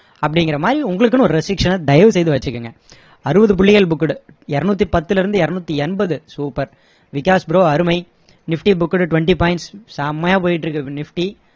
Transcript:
அப்படிங்குற மாதிரி உங்களுக்குன்னு ஒரு restriction அ தயவு செய்து வச்சிக்கோங்க அறுவது புள்ளிகள் booked இருநூத்தி பத்துல இருந்து இருநூத்தி எண்பது super விகாஷ் bro அருமை nifty booked twenty points செம்மையா போயிட்டு இருக்கு nifty